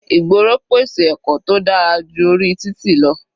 Ìgboro pèsè ẹ̀kọ́ tó dára ju orí títì lọ.